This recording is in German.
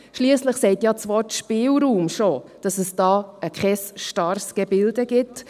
Schliesslich sagt ja das Wort «Spielraum» schon, dass es da kein starres Gebilde gibt.